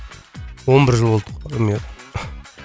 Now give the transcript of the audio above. он бір жыл болдық армияда